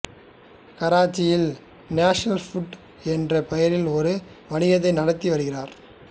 கராச்சியில் National Foods என்ற பெயரில் ஒரு வணிகத்தை நடத்தி வருகிறார்